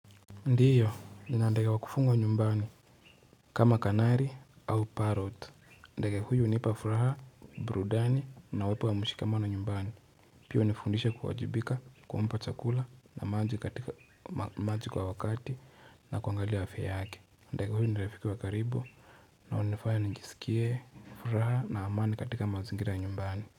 Ndiyo nina ndage wakufugwa nyumbani kama kanari au parott ndage huyu hunipa furaha, burudani na uwepo wa mshikamano nyumbani pia hunifundisha kuwajibika, kumpa chakula na maji katika maji kwa wakati na kuangalia afya yake ndage huyu ni rafiki wa karibu na hunifaya ninijisikie furaha na amani katika mazingira ya nyumbani.